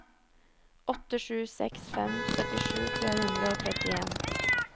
åtte sju seks fem syttisju tre hundre og trettien